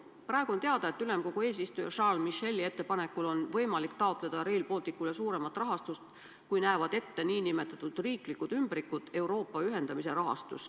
Praegu on teada, et ülemkogu eesistuja Charles Micheli ettepanekul on võimalik taotleda Rail Balticule suuremat rahastust, kui näevad ette nn riikide ümbrikud Euroopa ühendamise rahastus.